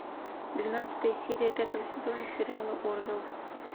двенадцатая серия пятого сезона сериала орвилл